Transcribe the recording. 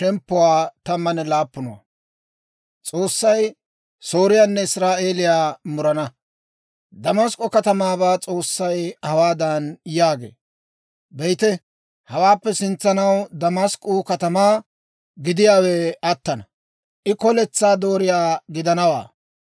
Damask'k'o katamaabaa S'oossay hawaadan yaagee; «Be'ite, hawaappe sintsanaw Damask'k'uu katamaa gidiyaawe attana; I koletsaa dooriyaa gidanawaa.